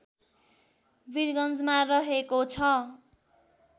वीरगन्जमा रहेको छ